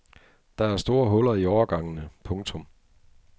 Der er store huller i årgangene. punktum